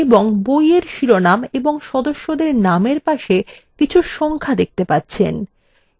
এবং বইয়ের শিরোনাম ও সদস্যদের nameএর পাশে কিছু সংখ্যা দেখতে পাচ্ছেন